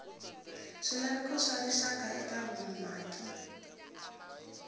swilaveko swa rixaka eka vumaki